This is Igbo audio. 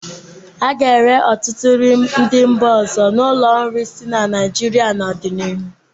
A ga-ere ọtụtụ nri ndị mba ọzọ n'ụlọ nri dị na Naịjirịa n'ọdịnihu.